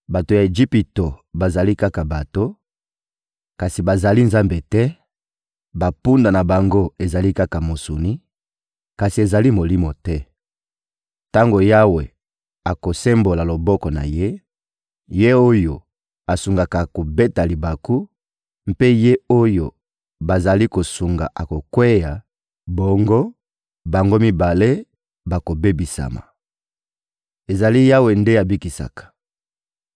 Bato ya Ejipito bazali kaka bato, kasi bazali Nzambe te, bampunda na bango ezali kaka mosuni, kasi ezali molimo te. Tango Yawe akosembola loboko na Ye, ye oyo asungaka akobeta libaku, mpe ye oyo bazali kosunga akokweya; bongo, bango mibale bakobebisama. Ezali Yawe nde Abikisaka